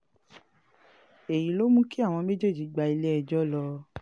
èyí ló mú kí àwọn méjèèjì gba ilé-ẹjọ́ lọ